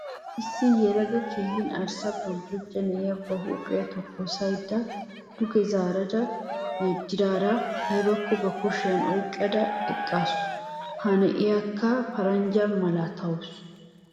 Issi yelaga keehi arssa boljjojja na'iya ba huuphiya tokkosissada duge zaarada yeddidaara aybakko ba kushiyan oyqqada eqqaasu. Ha na'iyakka paranjja malatawusu.